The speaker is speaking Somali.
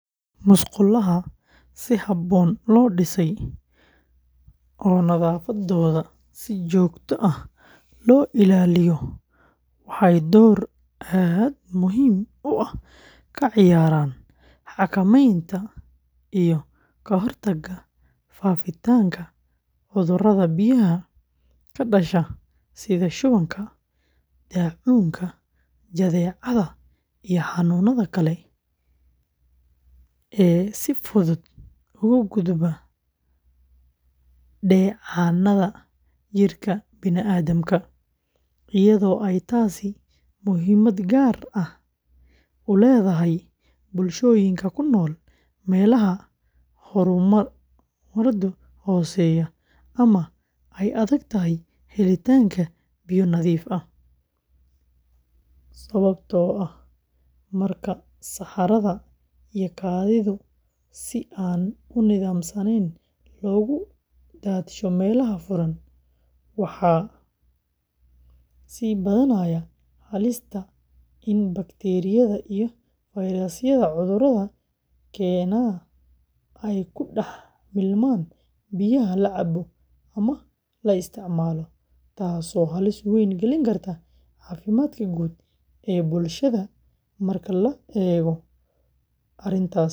Musqulaha si habboon loo dhisay oo nadaafaddooda si joogto ah loo ilaaliyo waxay door aad muhiim u ah ka ciyaaraan xakameynta iyo ka hortagga faafitaanka cudurrada biyaha ka dhasha sida shubanka, daacuunka, jadeecada iyo xanuunnada kale ee si fudud ugu gudba dheecaannada jidhka bini’aadamka, iyadoo ay taasi muhiimad gaar ah u leedahay bulshooyinka ku nool meelaha horumarkoodu hooseeyo ama ay adag tahay helitaanka biyo nadiif ah, sababtoo ah marka saxarada iyo kaadidu si aan nidaamsanayn loogu daadsho meelaha furan, waxaa sii badanaya halista in bakteeriyada iyo fayrasyada cudurrada keena ay ku dhex milmaan biyaha la cabo ama la isticmaalo, taasoo halis weyn gelin karta caafimaadka guud ee bulshada, marka la eego arrintaasna.